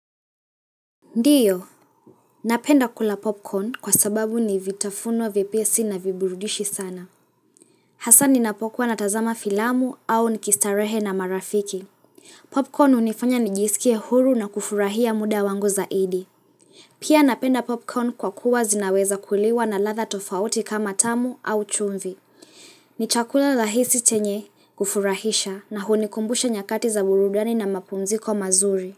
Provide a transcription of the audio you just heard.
Ndiyo, napenda kula popcorn kwa sababu nivitafunwa vipesi na viburudishi sana. Hasani napokuwa na tazama filamu au nikistarehe na marafiki. Popcorn unifanya nijisikie huru na kufurahia muda wangu zaidi. Pia napenda popcorn kwa kuwa zinaweza kuliwa na latha tofauti kama tamu au chumvi. Ni chakula lahisi chenye kufurahisha na hunikumbusha nyakati za burudani na mapumziko mazuri.